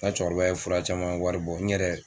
Nka cɛkɔrɔba ye fura caman wari bɔ n ɲɛrɛ